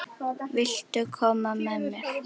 Viltu koma með mér?